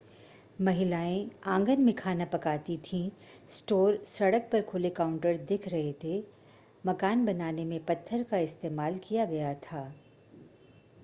महिलाएं आंगन में खाना पकाती थीं स्टोर सड़क पर खुले काउंटर दिख रहे थे मकान बनाने में पत्थर का इस्तेमाल किया गया था